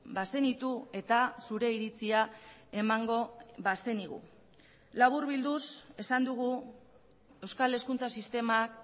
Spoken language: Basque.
bazenitu eta zure iritzia emango bazenigu laburbilduz esan dugu euskal hezkuntza sistemak